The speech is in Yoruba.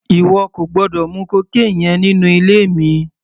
Ìwọ kò gbọ́dọ̀ mu cocaine yẹn nínú ilé mi!